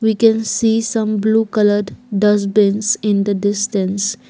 We can see some blue coloured dustbins in the distance.